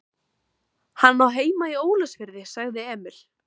Hann á heima í Ólafsfirði, sagði Emil.